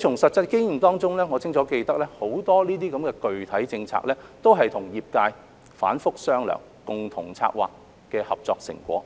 從實際經驗中，我清楚記得很多具體政策都是和業界反覆商量、共同策劃的合作成果，